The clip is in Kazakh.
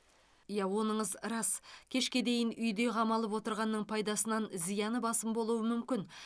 иә оныңыз рас кешке дейін үйде қамалып отырғанның пайдасынан зияны басым болуы мүмкін